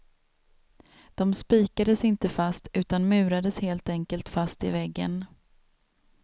De spikades inte fast, utan murades helt enkelt fast i väggen.